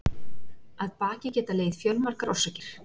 Að baki geta legið fjölmargar orsakir.